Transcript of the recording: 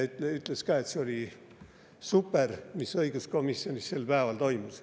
Ta ütles ka, et see oli super, mis õiguskomisjonis sel päeval toimus.